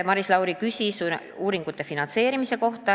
Maris Lauri küsis uuringute finantseerimise kohta.